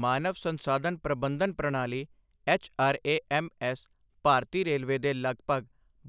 ਮਾਨਵ ਸੰਸਾਧਨ ਪ੍ਰਬੰਧਨ ਪ੍ਰਣਾਲੀ ਐੱਚਆਰਏਐੱਮਐੱਸ ਭਾਰਤੀ ਰੇਲਵੇ ਦੇ ਲਗਭਗ